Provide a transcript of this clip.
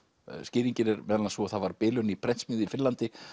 skýringin er meðal annars sú að það var bilun í prentsmiðju í Finnlandi